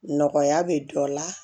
Nɔgɔya bɛ dɔ la